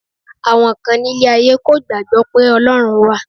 Àwọn kan nílé ayé kò gbàgbọ́ pé Ọlọ́run wà